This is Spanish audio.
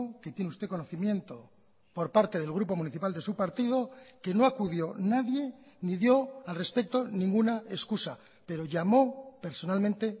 que tiene usted conocimiento por parte del grupo municipal de su partido que no acudió nadie ni dio al respecto ninguna excusa pero llamó personalmente